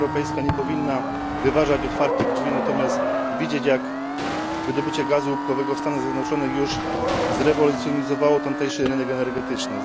Unia Europejska nie powinna wyważać otwartych drzwi, natomiast widzieć, jak wydobycie gazu łupkowego na przykład w Stanach Zjednoczonych już zrewolucjonizowało tamtejszy rynek energetyczny.